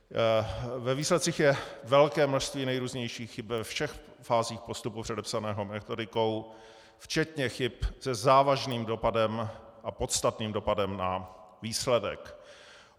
Ve výsledcích je velké množství nejrůznějších chyb ve všech fázích postupu předepsaného metodikou, včetně chyb se závažným dopadem a podstatným dopadem na výsledek.